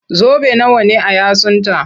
Zobe nawa ne a yatsunta?